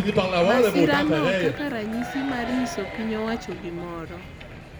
masirano kaka ranyisi mar nyiso piny owacho gimoro